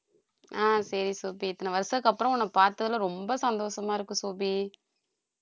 ஆஹ் சரி சோபி இத்தனை வருஷத்துக்கு அப்புறம் உன்னை பார்த்ததுல ரொம்ப சந்தோஷமா இருக்கு சோபி